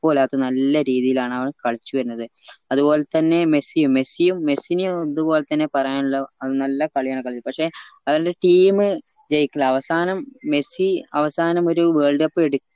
ഇല്ലാത്ത നല്ല രീതിയിലാണവൻ കളിച്ചുവരുന്നത് അതുപോലെ തന്നെ മെസ്സിയും മെസ്സി മെസ്സിനേം ഇതുപോലെ തന്നെ പറയാനുള്ള നല്ല കളിയാണ് കളിക്ക് പക്ഷേ അവന്റെ team ജയിക്കല് അവസാനം മെസ്സി അവസാനം ഒരു world cup എടി